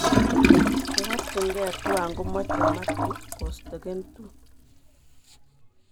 Neborchinke tuwan komoche Mathew kostake2